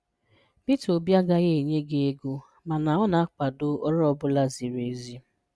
Peter obi agaghị enye gị ego mana ọ na-akwado ọrụ ọ bụla ziri ezi